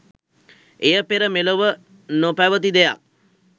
එය පෙර මෙලොව නො පැවති දෙයක්